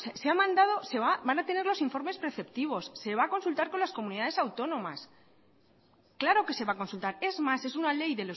van a tener los informes preceptivos se va a consultar con las comunidades autónomas claro que se va a consultar es más es una ley